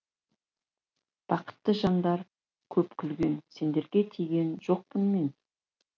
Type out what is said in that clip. бақытты жандар көп күлген сендерге тиген жоқпын мен